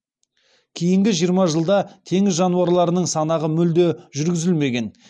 кейінгі жиырма жылда теңіз жануарларының санағы мүлде жүргізілмеген